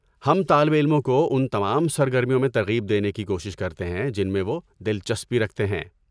ہم طالب علموں کو ان تمام سرگرمیوں میں ترغیب دینے کی کوشش کرتے ہیں جن میں وہ دلچسپی رکھتے ہیں۔